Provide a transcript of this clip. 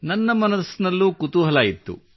ನನ್ನ ಮನದಲ್ಲೂ ಕುತೂಹಲವಿತ್ತು